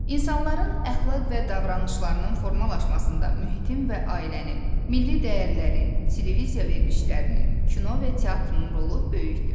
İnsanların əxlaq və davranışlarının formalaşmasında mühitin və ailənin, milli dəyərlərin, televiziya verilişlərinin, kino və teatrın rolu böyükdür.